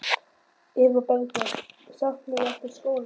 Eva Bergþóra: Saknarðu ekkert skólans?